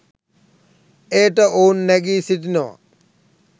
එයට ඔවුන් නැඟී සිටිනවා.